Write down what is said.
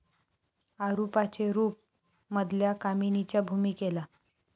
अरुपाचे रूप ' मधल्या कामिनीच्या भूमिकेला